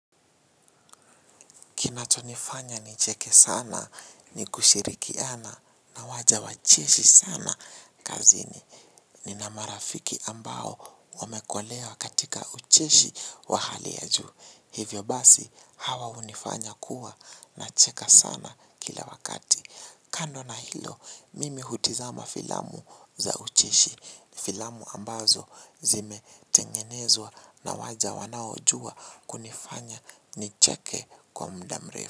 Kinachonifanya nicheke sana ni kushirikiana na waja wa cheshi sana kazini nina marafiki ambao wamekolea katika ucheshi wa hali ya juu. Hivyo basi hawa hunifanya kuwa nacheka sana kila wakati. Kando na hilo, mimi hutizama filamu za ucheshi, filamu ambazo zimetengenezwa na waja wanaojua kunifanya nicheke kwa mda mrefu.